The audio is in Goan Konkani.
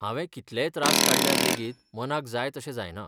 हांवें कितलेय त्रास काडल्यार लेगीत मनाक जाय तशें जायना.